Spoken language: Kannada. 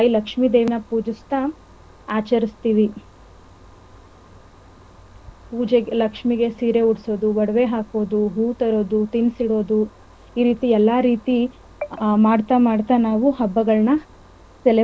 ತಾಯಿ ಲಕ್ಷ್ಮಿದೇವಿನ ಪೂಜಿಸ್ತಾ ಆಚರಿಸ್ತಿವಿ ಪೂಜೆಗೆ ಲಕ್ಷ್ಮಿಗೆ ಸೀರೆ ಉಡ್ಸೋದು ಒಡವೆ ಹಾಕೋದು ಹೂ ತರೋದು ತಿನಸಿಡೋದು ಈ ರೀತಿ ಎಲ್ಲ ರೀತಿ ಮಾಡ್ತಾ~ ಮಾಡ್ತಾ ನಾವು ಹಬ್ಬಗಳನ್ನ celebrate .